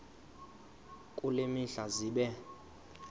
kule mihla zibe